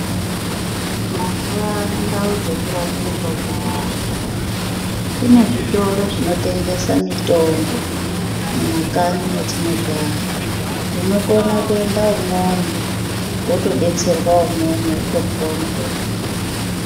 Mazuwa ano ndau dzekurapirwa dzwwanda kune zvitoro zvinotengesa mutombo mumakanyi mwatinogara unokone kuende umwomwo wotodetserwa umwomwo wotopuwa mutombo.